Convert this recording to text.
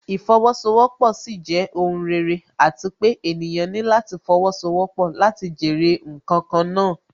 Ìfowósowọ́pọ̀ sì jẹ́ ohùn rere àti pé ènìyàn ní láti fowósowọ́pọ̀ láti jèrè ǹkan kan náà